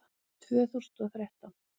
Tvö þúsund og þrettán